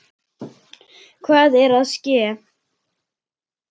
Hvað er að ske?